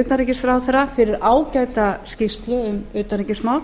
utanríkisráðherra fyrir ágæta skýrslu um utanríkismál